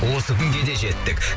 осы күнге де жеттік